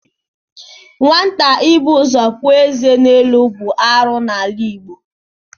Nwata ịbụ ụzọ puo ézé elu bụ arụ n'ala Igbo.